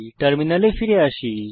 টার্মিনালে ফিরে আসি